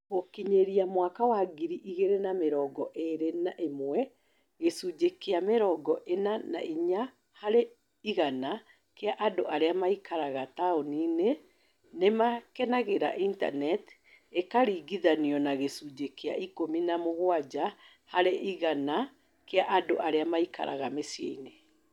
Gũkinyĩria mwaka wa ngiri igĩrĩ na mĩrongo ĩĩrĩ na ĩmwe, gĩcunjĩ kĩa mĩrongo ĩna na inya harĩ igana kĩa andũ arĩa maikaraga taũni-inĩ nĩ maakenagĩra Intaneti, ikaringithanio na gĩcunjĩ kĩa ikũmi na mũgwanja harĩ igana kĩa andũ arĩa maikaraga mĩciĩ-inĩ.